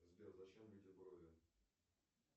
сбер зачем людям брови